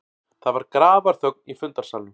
Það var grafarþögn í fundarsalnum.